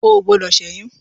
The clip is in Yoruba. O ò gbọdọ̀ ṣẹ́yún.